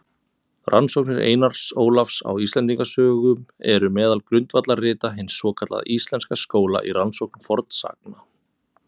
Rannsóknir Einars Ólafs á Íslendingasögum eru meðal grundvallarrita hins svokallaða íslenska skóla í rannsókn fornsagna.